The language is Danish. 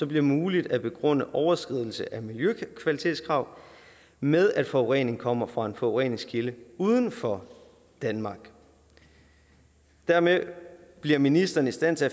bliver muligt at begrunde overskridelse af miljøkvalitetskrav med at forurening kommer fra en forureningskilde uden for danmark dermed bliver ministeren i stand til